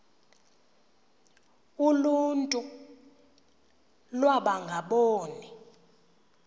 uluntu iwaba ngaboni